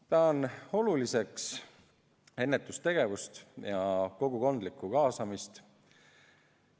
Pean oluliseks ennetustegevust ja kogukondlikku kaasamist.